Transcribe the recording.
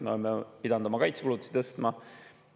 Me oleme pidanud oma kaitsekulutusi tõstma.